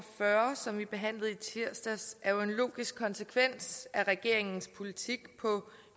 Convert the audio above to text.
fyrre som vi behandlede i tirsdags er jo en logisk konsekvens af regeringens politik på